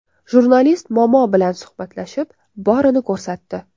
Jurnalist momo bilan suhbatlashib, borini ko‘rsatdi.